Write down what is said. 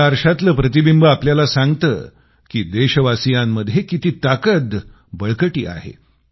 या आरशातलं प्रतिबिंब आपल्याला सांगतं की देशवासियांमध्ये किती ताकद बळकटी आहे